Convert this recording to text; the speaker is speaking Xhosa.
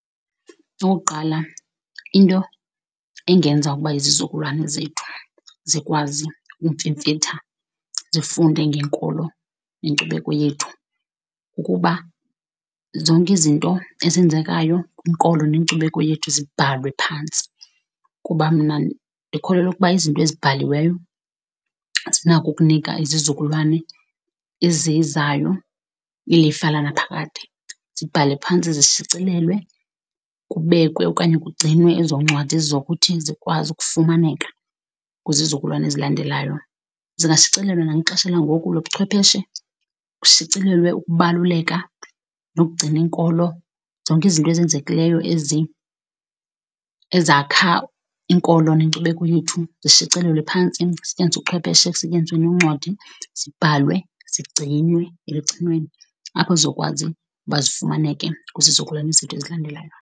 Okokuqala, into engenza ukuba izizukulwane zethu zikwazi ukumfimfitha zifunde ngenkolo nenkcubeko yethu, ukuba zonke izinto ezenzekayo inkolo nenkcubeko yethu zibhalwe phantsi. Kuba mna ndikholelwa ukuba izinto ezibhaliweyo zinakho ukunika izizukulwana ezizayo ilifa lanaphakade. Zibhalwe phantsi, zishicilelwe, kubekwe okanye kugcinwe ezo ncwadi zizokuthi zikwazi ukufumaneka kwizizukulwane ezilandelayo. Zingashicilelwa nakwixesha langoku lobuchwepheshe, kushicilelwe ukubaluleka nokugcina inkolo. Zonke izinto ezenzekileyo ezi ezakha inkolo nenkcubekho yethu zishicilelwe phantsi, kusetyenziswe ubuchwepheshe, kusetyenziswe noncwadi, zibhalwe zigcinwe elugcinweni apho zizokwazi uba zifumaneke kwizizukulwane zethu ezilandelayo.